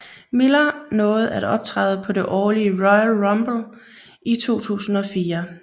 Miller nåede at optræde på det årlige Royal Rumble i 2004